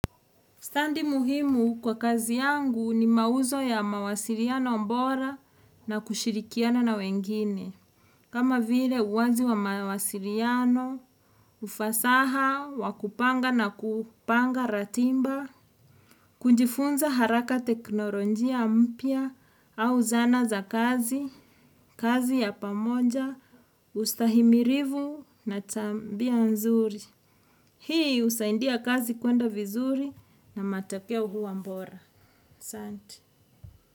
Stadi muhimu kwa kazi yangu ni mauzo ya mawasiliano bora na kushirikiana na wengine. Kama vile uwazi wa mawasiliano, ufasaha, wa kupanga na kupanga ratiba, kujifunza haraka teknolojia mpya au zana za kazi, kazi ya pamoja, ustahimilivu na tabia nzuri. Hii husaidia kazi kwenda vizuri na matokeo huwa bora. Asanti.